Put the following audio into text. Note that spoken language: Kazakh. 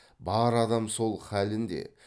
бар адам сол халінде